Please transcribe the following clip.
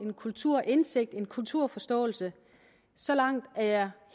kulturindsigt og kulturforståelse så langt er jeg